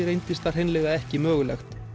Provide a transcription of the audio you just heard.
reyndist það hreinlega ekki mögulegt